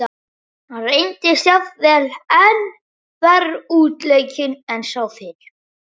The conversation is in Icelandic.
Hann reyndist jafnvel enn verr útleikinn en sá fyrri.